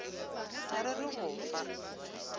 ga re re go fa